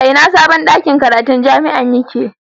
A ina sabon ɗakin karatu na jami'ar yake?